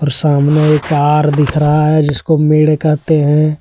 सामने एक तार दिख रहा है जिसको मेढ़ कहते है।